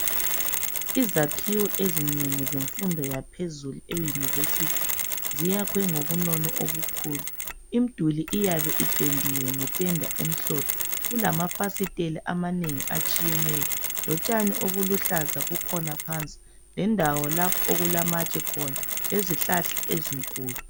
Izakhiwo ezingeni emfundweni yaphezulu e university zakhiwe ngobunono obukhulu. Imduli iyabe ipendiwe nge penda emhlophe. Kulama fasitela amanengi atshiyeneyo. Lotshani obuluhlaza bukhona phansi. Lendawo lapho okulamatshe khona. Lezihlahla ezinkulu.